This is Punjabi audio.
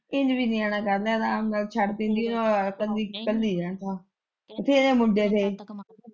ਇੰਝ ਵੀ ਨਿਆਣਾ ਕਰ ਲਿਆ ਆਰਾਮ ਨਾਲ਼ ਛੱਡ ਦਿੰਦੀ ਏਦੇ ਨਾਲ਼ੋਂ ਇੱਕਲੀ -ਇੱਕਲੀ ਰਹਿਣਾ ਸਾਂ ਬਥੇਰੇ ਮੁੰਡੇ ਨੇ।